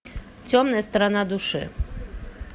темная сторона души